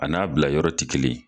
A n'a bila yɔrɔ ti kelen.